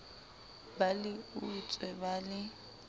ba le utswe ba le